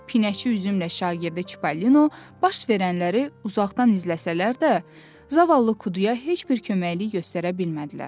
Pinəçi üzümlə şagirdi Çipollino, baş verənləri uzaqdan izləsələr də, zavallı Kuduya heç bir köməklik göstərə bilmədilər.